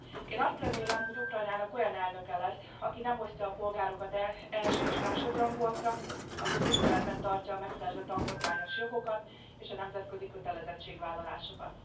Én azt remélem, hogy Ukrajnának olyan elnöke lesz, aki nem osztja a polgárokat el első és másodrangúakra, aki tiszteletben tartja a megszerzett alkotmányos jogokat és a nemzetközi kötelezettségvállalásokat.